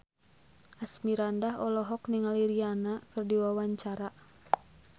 Asmirandah olohok ningali Rihanna keur diwawancara